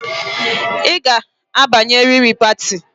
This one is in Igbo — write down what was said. I ga-abanye riri pati